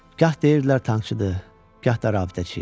Gah deyirdilər tankçıdır, gah da rabitəçi.